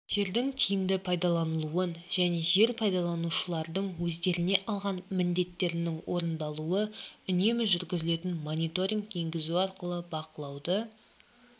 жердің тиімді пайдалануын және жер пайдаланушылардың өздеріне алған міндеттерінің орындалуы үнемі жүргізілетін мониторинг енгізу арқылы бақылауды